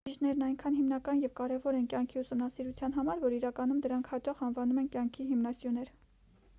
բջիջներն այնքան հիմնական և կարևոր են կյանքի ուսումնասիրության համար որ իրականում դրանց հաճախ անվանում են կյանքի հիմնասյուներ